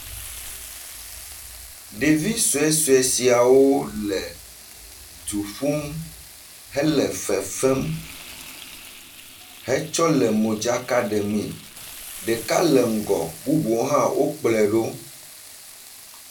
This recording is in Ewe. Ɖevi sue sue siawole du ƒum hele fefem hetsɔ le modzaka ɖemee. Ɖeka le ŋgɔ bubuawo hã wo kplɔe ɖo.